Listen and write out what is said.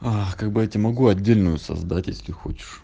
а как бы я тебе могу отдельную создать если хочешь